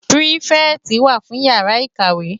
Pirifèti wá fún iyàrá ikáwé